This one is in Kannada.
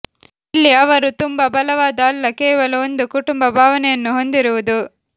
ಇಲ್ಲಿ ಅವರು ತುಂಬಾ ಬಲವಾದ ಅಲ್ಲ ಕೇವಲ ಒಂದು ಕುಟುಂಬ ಭಾವನೆಯನ್ನು ಹೊಂದಿರುವುದು